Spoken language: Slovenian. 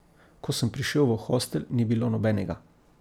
Ko sem prišel v hostel, ni bilo nobenega.